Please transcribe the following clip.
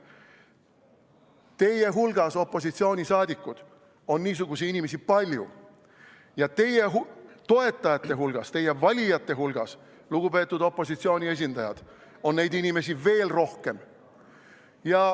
Teie hulgas, opositsiooni liikmed, on niisuguseid inimesi palju, ja teie toetajate hulgas, teie valijate hulgas, lugupeetud opositsiooni esindajad, on neid inimesi veel rohkem.